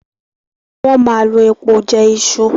Wón má lọ èpo jé Isu.